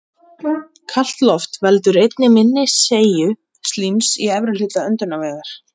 Kalt loft veldur einnig minni seigju slíms í efri hluta öndunarvegar.